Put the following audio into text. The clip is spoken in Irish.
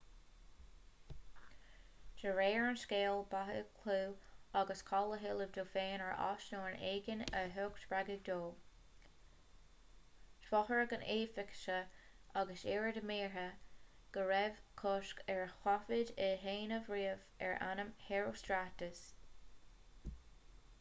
de réir an scéil ba é clú agus cáil a thuilleamh dó féin ar ais nó ar éigean a thug spreagadh dó d'fhógair na heifeasaigh agus iad ar mire go raibh cosc ar thaifead a dhéanamh riamh ar ainm herostratus